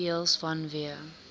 deels vanweë